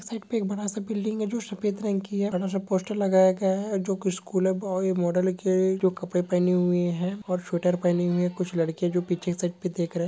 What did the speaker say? एक बड़ा सा बिल्डिग है जो सफेद रंग की है बड़ा सा पोस्टर लगाया गया है जोकि स्कुल बॉय मॉडल के जो कपडे पहने हुए है और स्वेटर पहने हुए कुछ लड़की जो पीछे से देख रहे--